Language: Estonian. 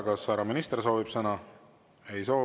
Kas härra minister soovib sõna?